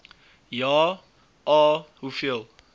ja a hoeveel